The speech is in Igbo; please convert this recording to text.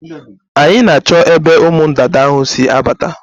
Anyị na-achọ ebe ụmụ ndanda ahụ si abata.